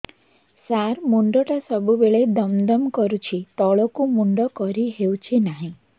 ସାର ମୁଣ୍ଡ ଟା ସବୁ ବେଳେ ଦମ ଦମ କରୁଛି ତଳକୁ ମୁଣ୍ଡ କରି ହେଉଛି ନାହିଁ